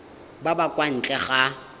ba ba kwa ntle ga